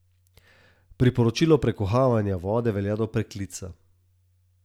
Priporočilo prekuhavanja vode velja do preklica.